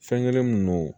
Fɛn kelen min no